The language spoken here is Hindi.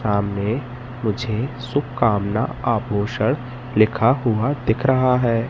सामने मुझे शुभकामना आभूषण लिखा हुआ दिख रहा है।